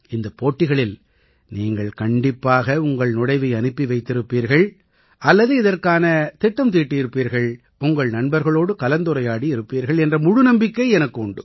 இந்தப் போட்டிகளில் நீங்கள் கண்டிப்பாக உங்கள் நுழைவை அனுப்பி வைத்திருப்பீர்கள் அல்லது இதற்கான திட்டம் தீட்டியிருப்பீர்கள் உங்கள் நண்பர்களோடு கலந்துரையாடி இருப்பீர்கள் என்ற முழு நம்பிக்கை எனக்கு உண்டு